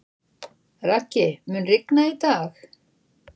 Raggi, mun rigna í dag?